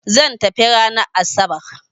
Zan tafi ranan asabar